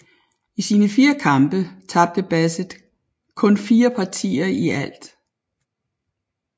I sine fire kampe tabte Bassett kun fire partier i alt